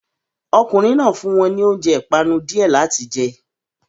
Ọkùnrin náà fún wọn ní oúnjẹ ìpanu díẹ̀ láti jẹ